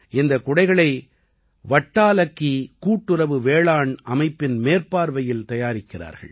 இந்தக் குடைகளை வட்டாலக்கி கூட்டுறவு வேளாண் அமைப்பின் மேற்பார்வையில் தயாரிக்கிறார்கள்